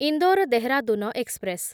Indore Dehradun express